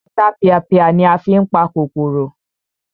Ọ̀tapìàpìà ni a fí n pa kòkòrò